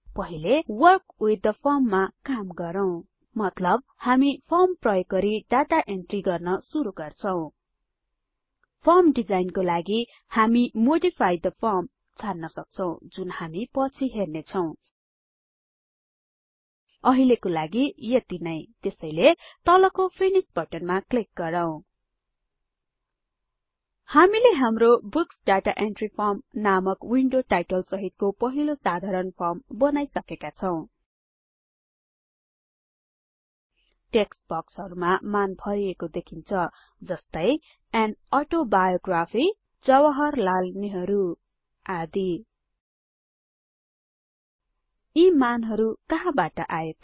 पहिलेWork with the form मा काम गरौँ मतलब हामी फर्म प्रयोग गरि डाटा इन्ट्री गर्न सुरु गर्छौ फर्म डिजाइन लागि हामी मोडिफाई थे फर्म छान्न सक्छौं जुन हामी पछी हेर्नेछौ अहिलेको लागि यति नै त्यसैले तलको फिनिश बटनमा क्लिक गरौँ हामीले हाम्रो बुक्स दाता एन्ट्री फर्म नामक विन्डो टाइटल सहितको पहिलो साधारण फर्म बनाईसकेका छौ टेक्स्ट बक्सहरुमा मान भरिएको देखिन्छ जस्तै अन अटोबायोग्राफी जवाहरलाल नेहरू आदि यी मानहरु कहाँबाट आए त